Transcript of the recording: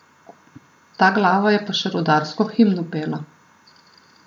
Ta glava je pa še rudarsko himno pela!